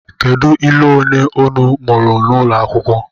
Kedu ilu ole unu mụrụ n’ụlọ akwụkwọ?